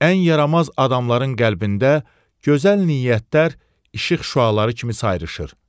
Ən yaramaz adamların qəlbində gözəl niyyətlər işıq şüaları kimi sayrışır.